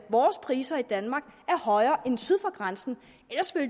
vores priser i danmark højere end priserne syd for grænsen